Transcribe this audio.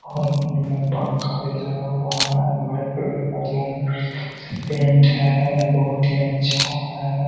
में पंखा भी लगा हुआ हैं वाइट कलर का रूम पेंट हैं बहुत ही अच्छा हैं।